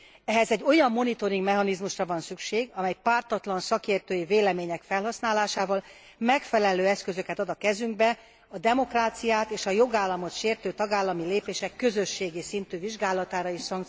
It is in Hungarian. Ehhez egy olyan monitoringmechanizmusra van szükség, amely pártatlan szakértői vélemények felhasználásával megfelelő eszközöket ad a kezünkbe a demokráciát és a jogállamot sértő tagállami lépések közösségi szintű vizsgálatára és szankcionálására.